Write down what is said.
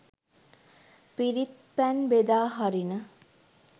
පිරිත් පැන් බෙදා හරින